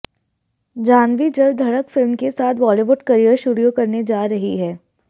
जाह्नवी जल्द धड़क फिल्म के साथ बॉलीवुड करियर शुरू करने जा रही हैं